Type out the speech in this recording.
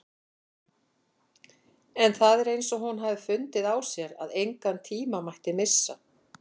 En það er eins og hún hafi fundið á sér að engan tíma mætti missa.